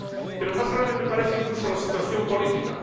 Pero más grave me parece, incluso, la situación política.